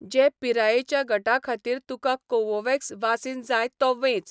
जे पिरायेच्या गटा खातीर तुका कोवोव्हॅक्स वासीन जाय तो वेंच.